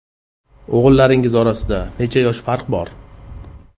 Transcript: O‘g‘illaringiz orasida necha yosh farq bor?